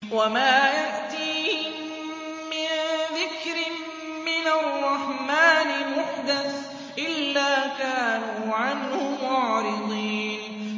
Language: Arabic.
وَمَا يَأْتِيهِم مِّن ذِكْرٍ مِّنَ الرَّحْمَٰنِ مُحْدَثٍ إِلَّا كَانُوا عَنْهُ مُعْرِضِينَ